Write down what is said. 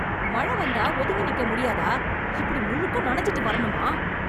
மழ வந்தா ஒதுங்கி நிக்க முடியாதா, இப்படி முழுக்க நனஞ்சுட்டு வரணுமா?